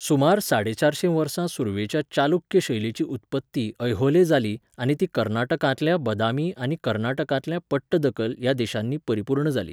सुमार साडेचारशें वर्सा सुरवेच्या चालुक्य शैलीची उत्पत्ती ऐहोले जाली आनी ती कर्नाटकांतल्या बदामी आनी कर्नाटकांतल्या पट्टदकल ह्या देशांनी परिपूर्ण जाली.